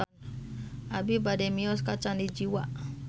Abi bade mios ka Candi Jiwa